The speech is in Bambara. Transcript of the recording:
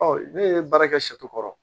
Ɔ ne ye baara kɛ sɛ kɔrɔ